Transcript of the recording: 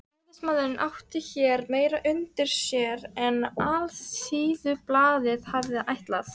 Ræðismaðurinn átti hér meira undir sér en Alþýðublaðið hafði ætlað.